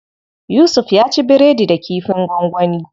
Yusuf ya ci biredi da kifin gwangwani.